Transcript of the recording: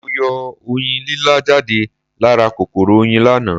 Mo yọ Oyin lílá jáde lá ra kòkòrò Oyin láàná